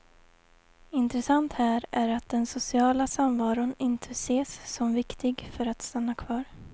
Intressant här är att den sociala samvaron inte ses som viktig för att stanna kvar.